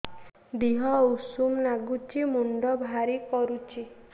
ଦିହ ଉଷୁମ ନାଗୁଚି ମୁଣ୍ଡ ଭାରି କରୁଚି